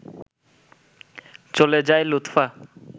চলে যায় লুৎফা